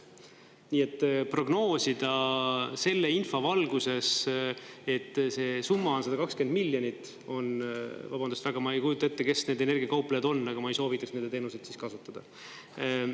Nii et prognoosida selle info valguses, et see summa on 120 miljonit, on, vabandust väga, ma ei kujuta ette, kes need energiakauplejad on, aga ma ei soovitaks nende teenuseid siis kasutada.